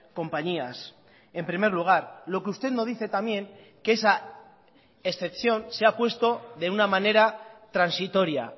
compañías en primer lugar lo que usted no dice también que esa excepción se ha puesto de una manera transitoria